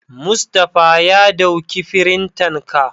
Mustapha ya dauki firintan ka.